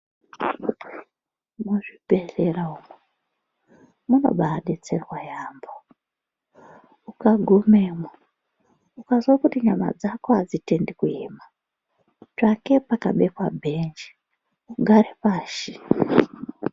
Muzvibhedhlera umu munobaabetserwa yaambo. Ukagumemwo, ukanzwa kuti nyama dzako hadzitendi kuema, tsvake pakabekwa bhenji ugare pashi.